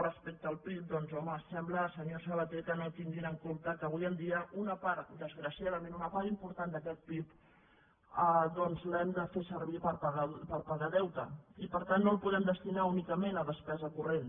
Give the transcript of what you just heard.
respecte al pib doncs home sembla senyor sabaté que no tinguin en compte que avui en dia desgraciadament una part important d’aquest pib l’hem de fer servir per pagar deute i per tant no el podem destinar únicament a despesa corrent